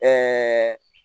Ɛɛ